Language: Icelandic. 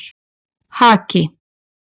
Haki